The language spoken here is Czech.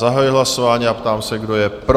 Zahajuji hlasování a ptám se, kdo je pro?